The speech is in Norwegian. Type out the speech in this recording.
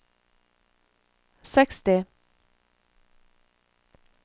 seksti